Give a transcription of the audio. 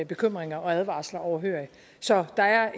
bekymringer og advarsler overhørig så der er